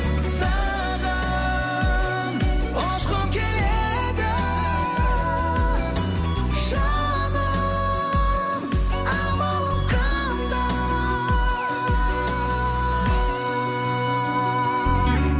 саған ұшқым келеді жаным амалым қандай